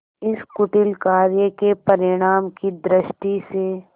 इस कुटिल कार्य के परिणाम की दृष्टि से